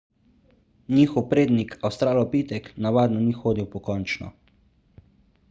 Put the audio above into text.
njihov prednik avstralopitek navadno ni hodil pokončno